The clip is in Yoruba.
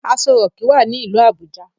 Aso rock wá ní ilú Abuja.